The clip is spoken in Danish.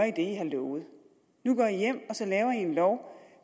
i har lovet nu går i hjem og så laver i en lov